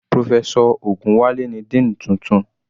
Professor Ogunwale ni dean tuntun.